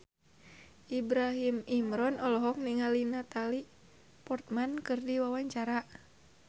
Ibrahim Imran olohok ningali Natalie Portman keur diwawancara